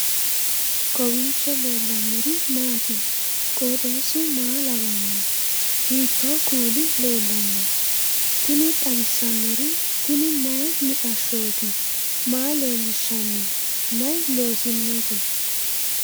kowiicho leellannori maati ? qooxeessu maa lawaanno ? hiitoo kuuli leellanno ? tini xawissannori tini mayi mixashshooti maa leellishshanno mayi loosinote